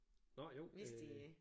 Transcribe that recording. Nå jo det